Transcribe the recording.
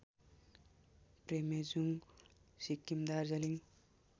प्रेमेजुङ Sikkim Darjeeling